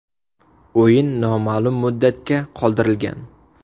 O‘yin noma’lum muddatga qoldirilgan.